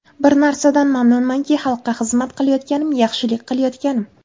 Bir narsadan mamnunmanki, xalqqa xizmat qilayotganim, yaxshilik qilayotganim.